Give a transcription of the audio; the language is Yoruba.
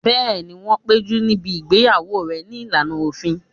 Bẹ́ẹ̀ni, wọ́n péjú níbi ìgbéyàwó rẹ̀ ní ìlànà òfin